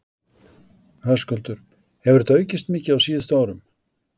Höskuldur: Hefur þetta aukist mikið á síðustu árum?